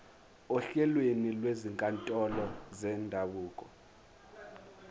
ohlelweni lwezinkantolo zendabuko